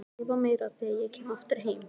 Skrifa meira þegar ég kem aftur heim.